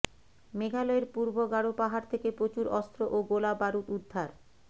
মেঘালয়ের পূর্ব গারো পাহাড় থেকে প্ৰচুর অস্ত্ৰ ও গোলা বারুদ উদ্ধার